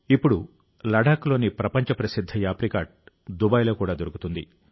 ఇప్పుడు లదదాఖ డఖ్లోని ప్రపంచ ప్రసిద్ధ యాప్రికాట్ దుబాయ్లో కూడా దొరుకుతుంది